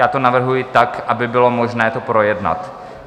Já to navrhuji tak, aby bylo možné to projednat.